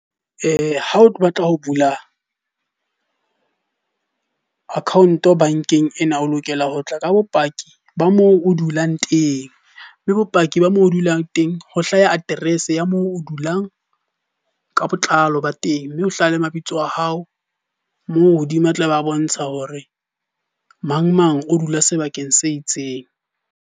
Ha o tlo batla ho bula account bankeng ena, o lokela ho tla ka bopaki ba moo o dulang teng. Mme bopaki ba mo o dulang teng ho hlaya address ya moo o dulang ka botlalo ba teng. Mme ho hlaha le mabitso a hao moo hodima a tla ba bontsha hore mang mang o dula sebakeng se itseng.